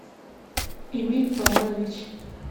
эмиль павлович